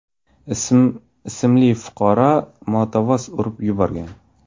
ismli fuqaroni motovoz urib yuborgan.